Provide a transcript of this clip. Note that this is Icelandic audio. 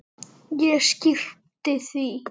Ég skyrpti því.